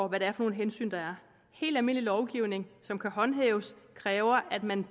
hvad det er for nogle hensyn der er helt almindelig lovgivning som kan håndhæves kræver at man